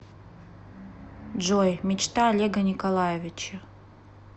джой мечта олега николаевича